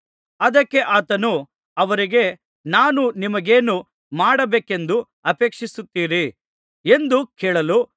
ಅದಕ್ಕೆ ಆತನು ಅವರಿಗೆ ನಾನು ನಿಮಗೇನು ಮಾಡಬೇಕೆಂದು ಅಪೇಕ್ಷಿಸುತ್ತೀರಿ ಎಂದು ಕೇಳಲು